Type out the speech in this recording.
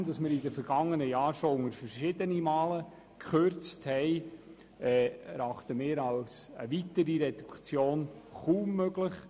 Nachdem wir in den vergangenen Jahren bereits verschiedene Male gekürzt haben, erachten wir eine weitere Reduktion als kaum möglich.